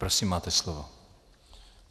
Prosím, máte slovo.